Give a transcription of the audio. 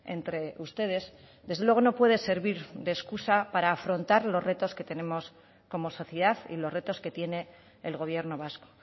entre ustedes desde luego no puede servir de excusa para afrontar los retos que tenemos como sociedad y los retos que tiene el gobierno vasco